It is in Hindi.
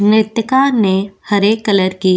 नृत्तीका ने हरे कलर की --